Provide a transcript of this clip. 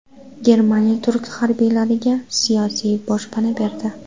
Germaniya turk harbiylariga siyosiy boshpana berdi.